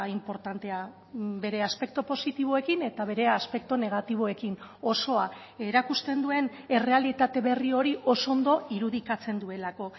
inportantea bere aspektu positiboekin eta bere aspektu negatiboekin osoa erakusten duen errealitate berri hori oso ondo irudikatzen duelako